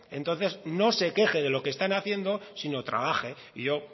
entonces no se queje de lo que están haciendo sino trabaje y yo